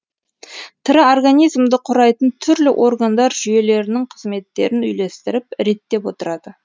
тірі организмді құрайтын түрлі органдар жүйелерінің қызметтерін үйлестіріп реттеп отырады